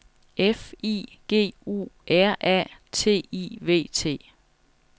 F I G U R A T I V T